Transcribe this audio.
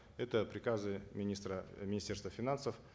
это приказы министра э министерства финансов